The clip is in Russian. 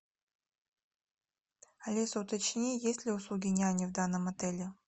алиса уточни есть ли услуги няни в данном отеле